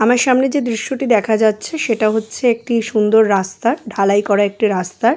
আমার সামনে যে দৃশ্য টি দেখা যাচ্ছে সেটা হচ্ছে একটি সুন্দর রাস্তা ঢালাই করা রাস্তা।